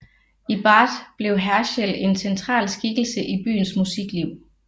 I Bath blev Herschel en central skikkelse i byens musikliv